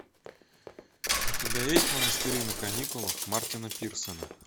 у тебя есть монастыри на каникулах мартина пирсона